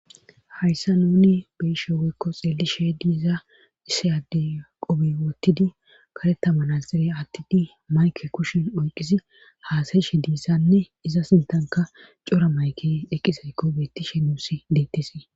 hayssa nuni beishe weykko xeelli sheedi iza issi ade qobi wottidi karetamanazere attidi mayke kushen oyqisi haasayshe diissanne iza sintanka cora mayke eqqizaykko beettishe nuusi deettisii